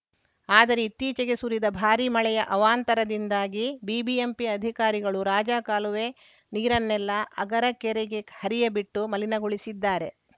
ಆದರೆ ಇತ್ತೀಚೆಗೆ ಸುರಿದ ಭಾರಿ ಮಳೆಯ ಅವಾಂತರದಿಂದಾಗಿ ಬಿಬಿಎಂಪಿ ಅಧಿಕಾರಿಗಳು ರಾಜಕಾಲುವೆ ನೀರನ್ನೆಲ್ಲಾ ಅಗರ ಕೆರೆಗೆ ಹರಿಯಬಿಟ್ಟು ಮಲಿನಗೊಳಿಸಿದ್ದಾರೆ